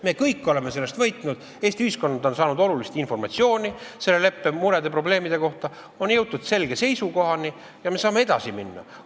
Me kõik oleme sellest siis võitnud: Eesti ühiskond on saanud olulist informatsiooni selle leppe murede ja probleemide kohta, on jõutud selgele seisukohale ja me saame edasi minna.